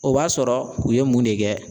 O b'a sɔrɔ u ye mun de kɛ.